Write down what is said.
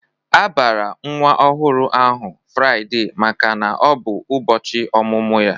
A bara nwa ọhụrụ ahụ Fraide maka na ọ bụ ụbọchị ọmụmụ ya.